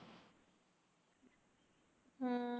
ਹਮ